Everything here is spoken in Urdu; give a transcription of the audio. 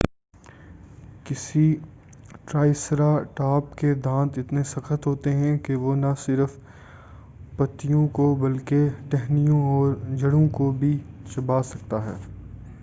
کسی ٹرائسرا ٹاپ کے دانت اتنے سخت ہوتے ہیں کہ وہ نہ صرف پتیوں کو بلکہ ٹہنیوں اور جڑوں کو بھی چبا سکتا ہے